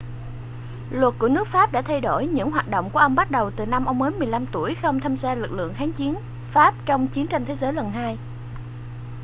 luật của nước pháp đã thay đổi những hoạt động của ông bắt đầu từ năm ông mới 15 tuổi khi ông tham gia lực lượng kháng chiến pháp trong chiến tranh thế giới lần 2